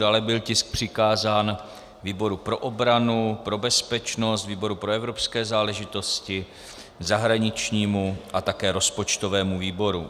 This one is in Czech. Dále byl tisk přikázán výboru pro obranu, pro bezpečnost, výboru pro evropské záležitosti, zahraničnímu a také rozpočtovému výboru.